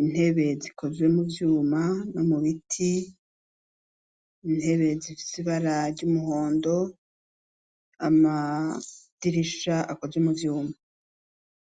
intebe zikoze muvyuma no mubiti , intebe zifise ibara ry'umuhondo amadirisha akozwe muvyuma.